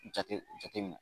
Jate jate minɛn.